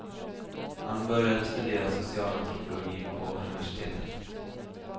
Han började studera socialantropologi på universitetet.